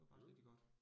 Mh